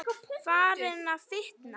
Farin að fitna.